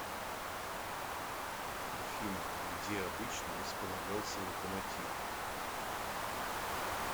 афина где обычно располагался локомотив